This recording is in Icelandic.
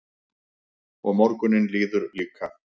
Og morgunninn líður líka.